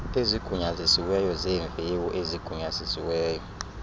ezigunyazisiweyo zeemviwo ezigunyazisiweyo